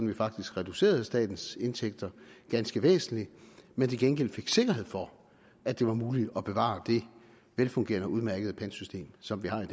vi faktisk reducerede statens indtægter ganske væsentligt men til gengæld fik vi sikkerhed for at det var muligt at bevare det velfungerende og udmærkede pantsystem som vi har i